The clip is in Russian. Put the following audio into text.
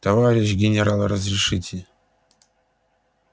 товарищ генерал разрешите